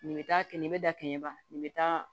Nin bɛ taa kɛ nin bɛ da kɛnɲɛ ban nin bɛ taa